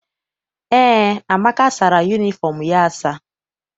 Eé, Amaka sara yunifọm ya asa.